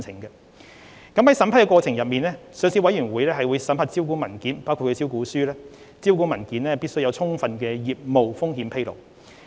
在審批過程中，上市委員會會審核招股文件，確保招股文件有充分的業務風險披露。